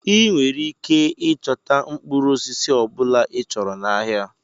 Ị nwere ike ịchọta mkpụrụ osisi ọ bụla ịchọrọ n'ahịa.